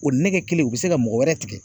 O nɛgɛ kelen u bi se ka mɔgɔ wɛrɛ tigɛ